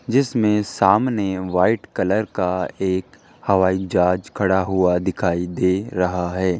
जिसमें सामने white colour का एक हवाई जहाज खड़ा हुआ दिखाई दे रहा है।